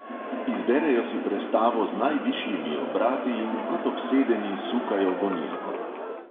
Izberejo si prestavo z najvišjimi obrati in kot obsedeni sukajo gonilko.